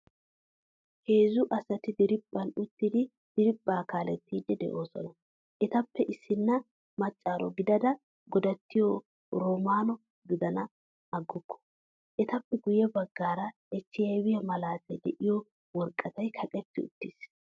Heezzu asati diriphphan uttidi diriphpha kaalettidi deosona. Ettappe issina maacaro gidada godattiyo romano gidenan aguku. Ettappe guye baggaara HIViya malaatay deiyo woraqata kaqqidi uttidosna.